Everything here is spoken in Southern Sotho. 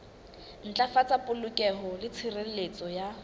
ntlafatsa polokeho le tshireletso ya